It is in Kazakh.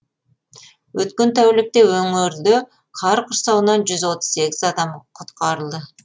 өткен тәулікте өңірде қар құрсауынан жүз отыз сегіз адам құтқарылды